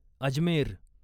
Ajmer